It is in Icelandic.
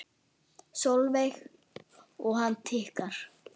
Sólveig: Og hann tikkar?